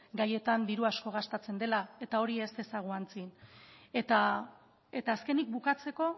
gaietan diru asko gastatzen dela eta hori ez dezagun ahantzi eta azkenik bukatzeko